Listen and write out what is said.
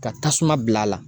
Ka tasuma bil'a la